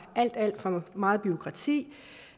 alt alt for meget bureaukrati